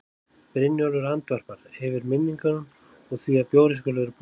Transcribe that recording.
Brynjólfur andvarpar, yfir minningunum og því að bjórinn skuli vera búinn.